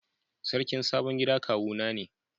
Sarkin sabon gida kawu na ne.